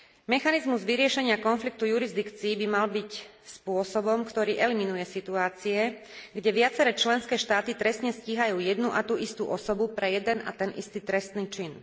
Mechanizmus vyriešenia konfliktu jurisdikcií by mal byť spôsobom, ktorý eliminuje situácie, keď viaceré členské štáty trestne stíhajú jednu a tú istú osobu pre jeden a ten istý trestný čin.